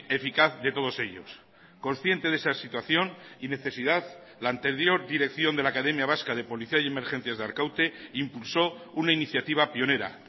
eficaz de todos ellos consciente de esa situación y necesidad la anterior dirección de la academia vasca de policía y emergencias de arkaute impulsó una iniciativa pionera